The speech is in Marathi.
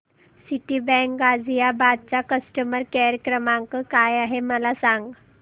सिटीबँक गाझियाबाद चा कस्टमर केयर क्रमांक काय आहे मला सांग